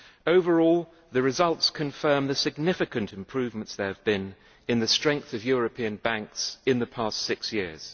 Overall, the results confirm the significant improvements there have been in the strength of European banks in the past six years.